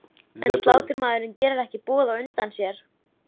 En sláttumaðurinn gerir ekki boð á undan sér.